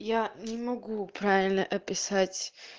я не могу правильно описать